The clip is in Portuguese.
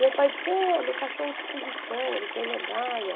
Meu pai disse, é, ele é cachorro de exposição, ele tem medalha.